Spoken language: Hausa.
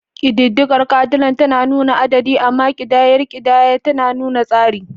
Ƙididdigar Cardinal tana nuna adadi, amma ƙidayar ƙidaya tana nuna tsari.